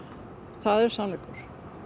það er sannleikur